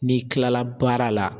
N'i kilala baara la